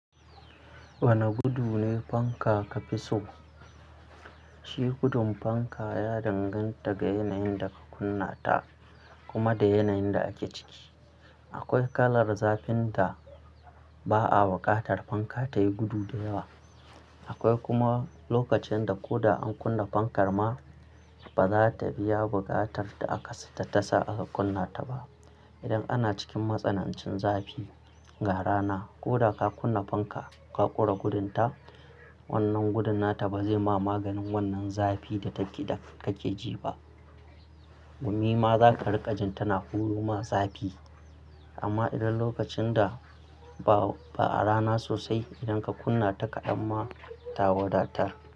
Wane gudu ne fanka ka fi so? Shi gudun fanka ya danganta ga yanayin da ka kunna ta kuma da yanayin da ake ciki. Akwai kalar zafin da ba a buƙatar fanka ta yi gudu da yawa. Akwai kuma lokacin da ko da an kunna fankar ma, ba za ta biya buƙatar da aka sa ta tasa aka kunna ta ba. Idan ana cikin matsanancin zafi, ga rana, ko da ka kunna fanka, ka ƙure gudun ta, wannan gudun nata ba zai ma maganin wannan zafi da kake ji ba. Gumi ma za ka riƙa jin tana huro ma zafi. Amma idan lokacin da ba a rana sosai, idan ka kunna ta kaɗan ma, ta wadatar.